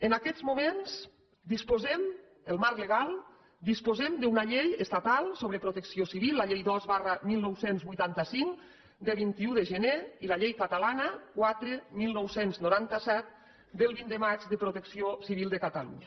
en aquests moments disposem el marc legal d’una llei estatal sobre protecció civil la llei dos dinou vuitanta cinc de vint un de gener i la llei catalana quatre dinou noranta set del vint de maig de protecció civil de catalunya